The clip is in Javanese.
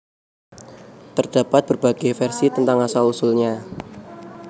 Terdapat berbagai versi tentang asal usulnya